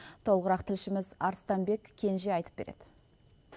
толығырақ тілшіміз арыстанбек кенже айтып береді